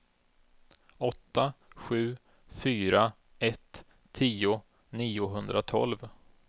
åtta sju fyra ett tio niohundratolv